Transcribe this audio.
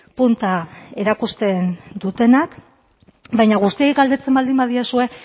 punta erakusten dutenak baina guztiei galdetzen baldin badiezue